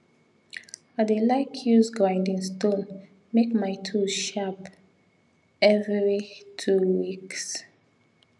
i dey like use grinding stone make my tools sharp evvery two weeks